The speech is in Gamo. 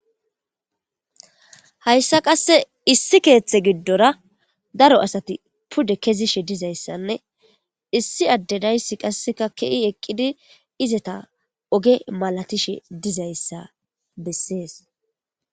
Hayssa qasse issi keeththe giddora daro asati pude kezishe dizayssanne issi addedaysi qasseka ke'i eqqidi izeta oge malatishe dizayssa bessees.